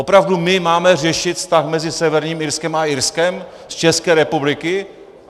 Opravdu my máme řešit vztah mezi Severním Irskem a Irskem z České republiky?